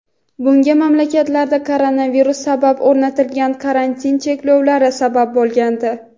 Bunga mamlakatlarda koronavirus sabab o‘rnatilgan karantin cheklovlari sabab bo‘lgandi.